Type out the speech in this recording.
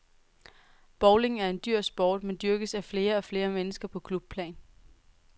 Bowling er en dyr sport, men dyrkes af flere og flere mennesker på klubplan.